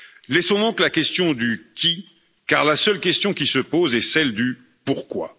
Laissons donc la question du qui, car la seule question qui se pose est celle du pourquoi.